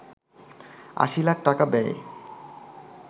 ৮০ লাখ টাকা ব্যয়ে